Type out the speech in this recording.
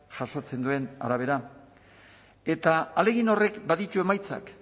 jasotzen duen arabera eta ahalegin horrek baditu emaitzak